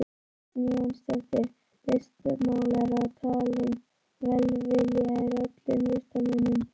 Kristínu Jónsdóttur listmálara og talinn velviljaður öllum listamönnum.